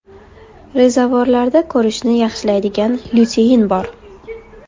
Rezavorlarda ko‘rishni yaxshilaydigan lyutein bor.